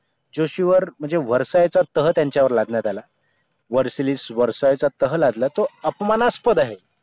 जोशी वर्ग म्हणजे वर्षाच्या तह त्यांच्यावर लादण्यात आला वर्षालीस वर्षाच्या तह लादला तो अपमानास्पद आहे